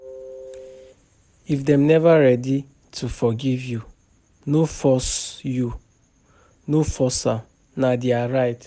If dem neva ready to forgive you, no force am, na their right.